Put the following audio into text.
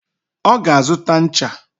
Oga azuta ncha